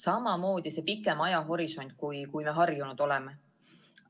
Samamoodi, et ajahorisont on pikem, kui me harjunud oleme.